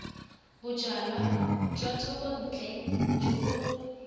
bojalwa jwa thekontle jo bo